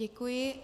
Děkuji.